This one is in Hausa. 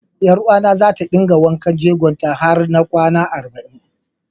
Ƴaruwata za ta dinga wanken jegon ta har na kwana arba'in.